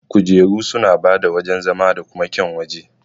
Kujeru suna bada wajan zama da kuma kyaun waje.